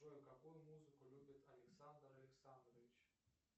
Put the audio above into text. джой какую музыку любит александр александрович